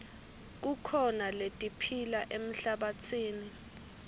kukhona letiphila emhlabatsini